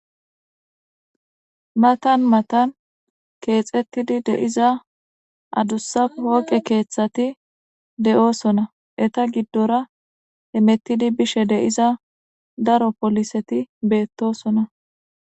Matan matan keexetidi de'iza adusa pooqe keethathi de'osona eeta gidora hemetidi bishe de'iza daro pooliseti beetosona.